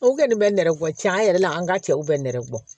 O kɛlen bɛ nɛrɛ bɔ cɛn yɛrɛ la an ka cɛw bɛ nɛrɛ bɔ